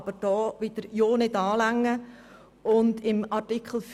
Aber man will ja nichts anrühren.